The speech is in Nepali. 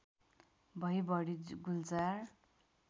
भई बढी गुल्जार